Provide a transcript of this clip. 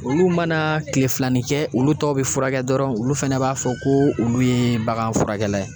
Olu mana kilefilani kɛ, olu tɔw bi furakɛ dɔrɔn, olu fana b'a fɔ ko olu ye baganfurakɛla ye.